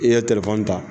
I ye ta